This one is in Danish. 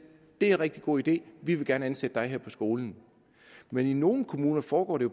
det er en rigtig god idé vi vil gerne ansætte dig her på skolen men i nogle kommuner foregår det